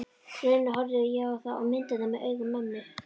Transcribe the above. rauninni horfði ég þá á myndirnar með augum mömmu.